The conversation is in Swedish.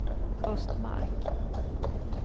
Östmark